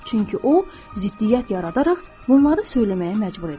Çünki o, ziddiyyət yaradaraq bunları söyləməyə məcbur edir.